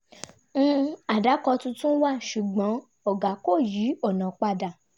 um àdàkọ tuntun wà ṣùgbọ́n ọ̀gá ko yí ọ̀nà padà